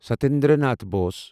Satyendra Nath Bose